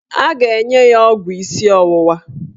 A ga-enye ya ọgwụ isi ọwụwa